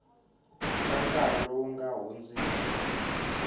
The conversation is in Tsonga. ka nkarhi lowu nga hundziki